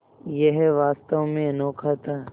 यह वास्तव में अनोखा था